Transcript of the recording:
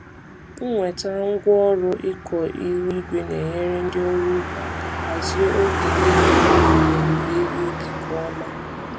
Ịnweta ngwaọrụ ịkọ ihu igwe na-enyere ndị ọrụ ugbo aka hazie oge ịgha mkpụrụ na owuwe ihe ubi nke ọma.